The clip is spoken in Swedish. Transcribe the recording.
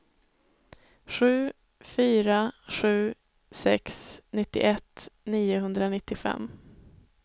sju fyra sju sex nittioett niohundranittiofem